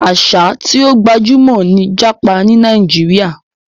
Àṣà tí ó gbajúmọ̀ ni jápa ní Nàíjíríà.